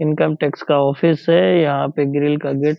income tax का office है यहाँ पे ग्रिल का गेट --